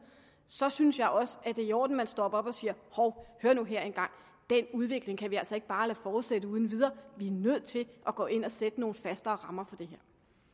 så synes jeg også det er i orden at man stopper op og siger hov hør nu her en gang den udvikling kan vi altså ikke bare lade fortsætte uden videre vi er nødt til at gå ind og sætte nogle fastere rammer for det